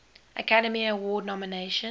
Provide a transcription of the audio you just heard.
academy award nomination